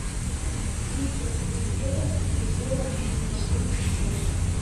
тридцать семь евро в рублевом эквиваленте сколько